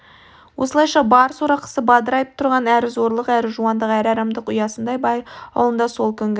осылайша бар сорақысы бадырайып тұрған әрі зорлық әрі жуандық әрі арамдық ұясындай бай аулында сол күнгі